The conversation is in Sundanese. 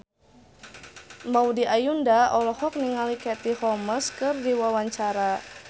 Maudy Ayunda olohok ningali Katie Holmes keur diwawancara